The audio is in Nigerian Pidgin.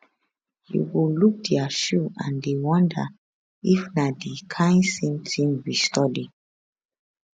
you go look dia shoe and dey wonder if na di kain same tin we study